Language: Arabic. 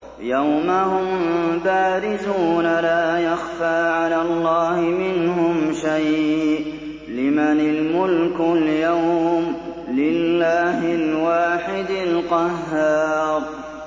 يَوْمَ هُم بَارِزُونَ ۖ لَا يَخْفَىٰ عَلَى اللَّهِ مِنْهُمْ شَيْءٌ ۚ لِّمَنِ الْمُلْكُ الْيَوْمَ ۖ لِلَّهِ الْوَاحِدِ الْقَهَّارِ